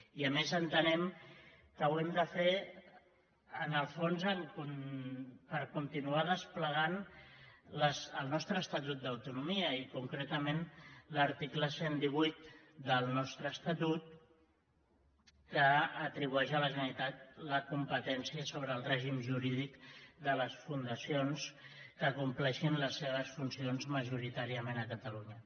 i a més entenem que ho hem de fer en el fons per continuar desplegant el nostre estatut d’autonomia i concretament l’article cent i divuit del nostre estatut que atribueix a la generalitat la competència sobre el règim jurídic de les fundacions que compleixin les seves funcions majoritàriament a catalunya